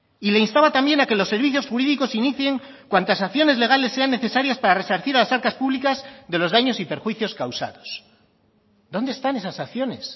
y le instaba también a que los servicios jurídicos inicien cuantas acciones legales sean necesarias para resarcir a las arcas públicas de los daños y perjuicios causados dónde están esas acciones